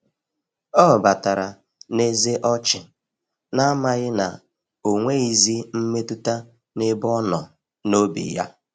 Ọ batara n'eze ọchị, na-amaghị na onweghizi mmetụta n'ebe ọnọ n’obi ya.